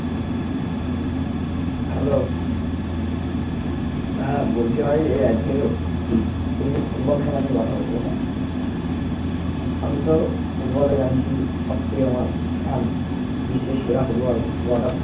hello হ্যাঁ বলছি ভাই এই আজকেরও ফুটবল খেলা নিয়ে কথা বলবো হ্যাঁ আমি তো ফুটবল এ জানিসই সব থেকে আমার fan বিশ্বের সেরা ফুটবল god of